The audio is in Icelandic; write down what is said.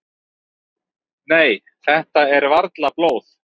"""Nei, þetta er varla blóð."""